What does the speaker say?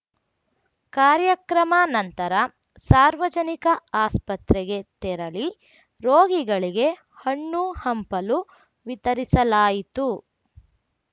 ಕಾರ್ಯಕ್ರಮ ನಂತರ ಸಾರ್ವಜನಿಕ ಆಸ್ಪತ್ರೆಗೆ ತೆರಳಿ ರೋಗಿಗಳಿಗೆ ಹಣ್ಣುಹಂಪಲು ವಿತರಿಸಲಾಯಿತು